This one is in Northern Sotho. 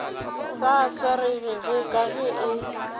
sa swaregego ka ge e